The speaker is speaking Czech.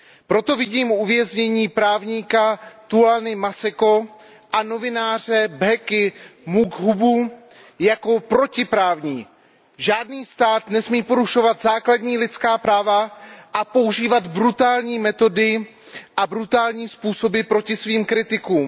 Proto vidím uvěznění právníka Thulaniho Maseka a novináře Bhekiho Makhubua jako protiprávní. Žádný stát nesmí porušovat základní lidská práva a používat brutální metody a brutální způsoby proti svým kritikům.